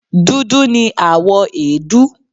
Dudu ni àwọ̀ èédú